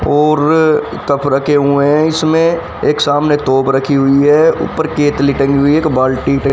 ओर तफ रखे हुए है इसमे एक सामने तोप रखी हुई है ऊपर केतली टंगी हुई है एक बाल्टी ट--